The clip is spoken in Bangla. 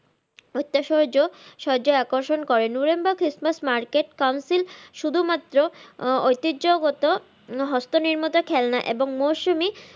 উইতিঝ আকর্ষণ করেন নুরেনবারগ christmas market Council শুধুমাত্র ঐতিহ্যগত হস্ত নির্মিত খেলনা এবং মরসুমি,